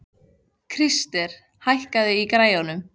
Krister, hækkaðu í græjunum.